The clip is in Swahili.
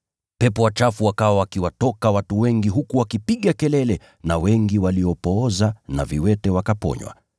Pepo wachafu wakawa wakiwatoka watu wengi huku wakipiga kelele na wengi waliopooza na viwete wakaponywa.